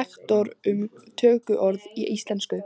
lektor um tökuorð í íslensku.